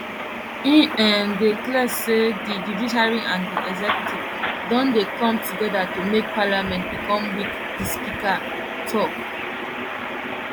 e um dey clear say di judiciary and di executive don dey come togeda to make parliament become weak di speaker tok